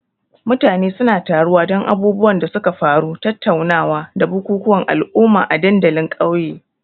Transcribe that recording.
Mutane suna taruwa don abubuwan da suka faru, tattaunawa, da bukukuwan al'umma a dandalin ƙauye.